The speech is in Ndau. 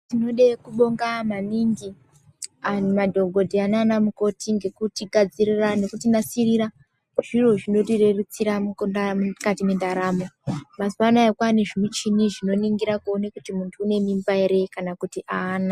Tinode kubonga maningi , madhokodheya naanamukoti ngekutigadzirira nekutinasirira zviro zvinotirerutsira muupona mukati mwendaramo. Mazuwa anaya jwaane zvimuchini zvinoningira kuone kuti muntu une mimba ere kana kuti aana.